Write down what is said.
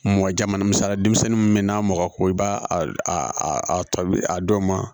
Mɔgɔ jamu misaliya denmisɛnnin mun be n'a mɔkɔ ko i b'a a a tɔbi a dɔ ma